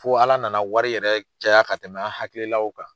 Fo Ala na na wari yɛrɛ caya ka tɛmɛ an hakili law kan.